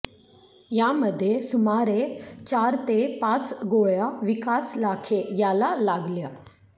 यामध्ये सुमारे चार ते पाच गोळ्या विकास लाखे याला लागल्या